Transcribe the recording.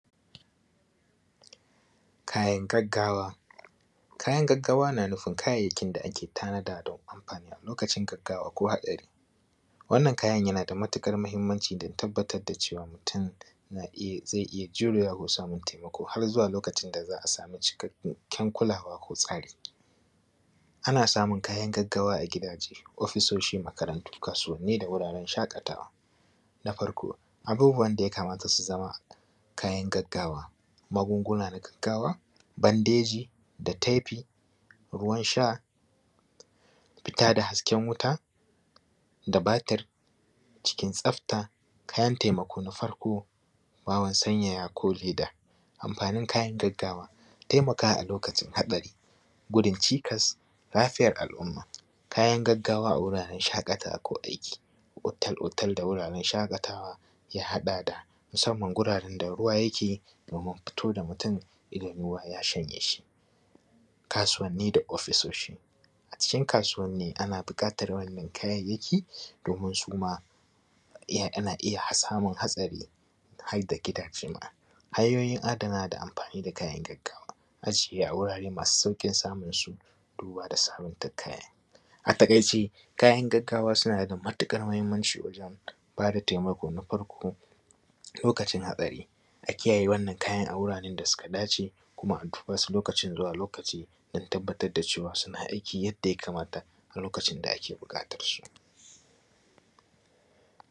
Kayan gaggawa na nufin kayayyakin da ake tanada don amfani lokacin haɗari. Wannan kayan yana da matuƙar muhimmanci don tabbar da cewa, mutum na iya zai iya jurewa samun taimako har zuwa lokaci da za a samu cikakken kulawa ko tsari, Ana samun kayan gaggawa a didaje, ofisshoshi, makarantu, kasuwanni da wuraren shaƙatawa. Na farko abubuwan da yakamata su zama kayan gaggawa, magunguna na gaggawa, bandeji da tefi, ruwan sha, fita da hasken wuta da batir cikin tsafta. Kayan taimako na farko bawon sanyaya ko leda, amfanin kayan gaggawa taimakawa alokacin haɗari, gudun cikas lafiyar al’umma. Kayan gaggawa a wuraren shaƙatawa ko aiki, otel otel da wuraren shaƙatawa, ya haɗa da musamman ruwa yake domin fito da mutum idan ruwa ya shanye shi. kasuwanni da ofisshoshi. A cikin kasuwanni ana buƙatar wannan domin su ma ana iya samun hatsari har da gidaje. Hanyoyi adanawa da amfani da kayan aikin gaggawa, ajiye a wurin samun sauƙin samun su. Duba da sabanta kaya. A taƙaice kayan gagggawa sauna da matiƙar muhimmanci wajen, ba da taimako na far lokacin haɗari, a kiyaye wannan kayan a wuraren da su ka dace,, kuma a duba su lokaci zuwa lokaci don tabbatar da suna aiki yadda ualamata a lokacin da ake buƙatar su.